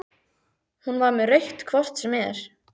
Hún var með rautt hvort sem er.